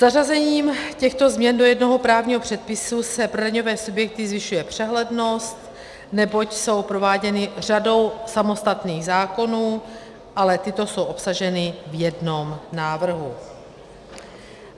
Zařazením těchto změn do jednoho právního předpisu se pro daňové subjekty zvyšuje přehlednost, neboť jsou prováděny řadou samostatných zákonů, ale tyto jsou obsaženy v jednom návrhu.